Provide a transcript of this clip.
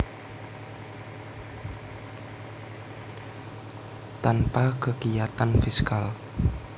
Tanpa kekiyatan fiskal